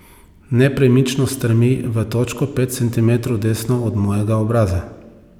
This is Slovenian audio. Nepremično strmi v točko pet centimetrov desno od mojega obraza.